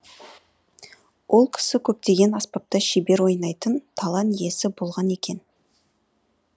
ол кісі көптеген аспапта шебер ойнайтын талан иесі болған екен